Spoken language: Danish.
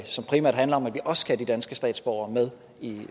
som primært handler om at vi også skal have de danske statsborgere med